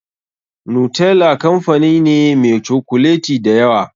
Nutella kamfani ne meh cokuleti da yawa.